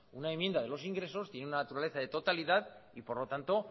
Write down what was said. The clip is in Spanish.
una enmienda de los ingresos tiene una naturaleza de totalidad y por lo tanto